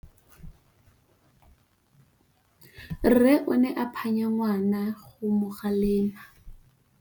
Rre o ne a phanya ngwana go mo galemela.